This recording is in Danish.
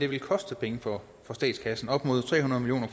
vil koste penge for statskassen nemlig op mod tre hundrede million